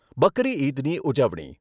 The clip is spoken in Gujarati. બકરી ઇદની ઉજવણી